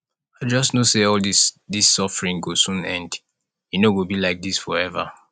i just know say all dis dis suffering go soon end e no go be like dis forever